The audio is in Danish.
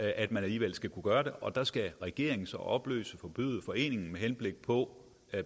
at man alligevel skal kunne gøre det og der skal regeringen så opløse og forbyde foreningen med henblik på